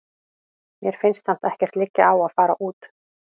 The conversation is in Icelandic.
Mér finnst samt ekkert liggja á að fara út.